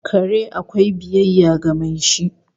Kare akwai biyayya ga mai shi